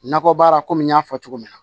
Nakɔbaara kɔmi n y'a fɔ cogo min na